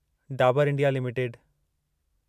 Dabur India limited